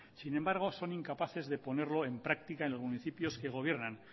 sin embargo son incapaces de ponerlo en práctica en los municipios que gobiernan